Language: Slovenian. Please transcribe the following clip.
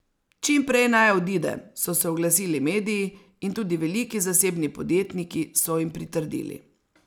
Čim prej naj odide, so se oglasili mediji, in tudi veliki zasebni podjetniki so jim pritrdili.